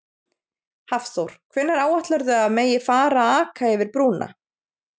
Hafþór: Hvenær áætlarðu að megi að fara að aka yfir brúna?